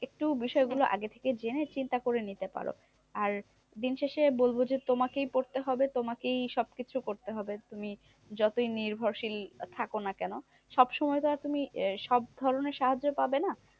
একটু বিষয় গুলো আগে থেকে জেনে চিন্তা করে নিতে পারো। আর দিনশেষে বলবো যে, তোমাকে পড়তে হবে তোমাকেই সব কিছু করতে হবে। তুমি যতই নির্ভরশীল থাকো না কেন? সবসময় তো আর তুমি সব ধরণের সাহায্য পাবে না?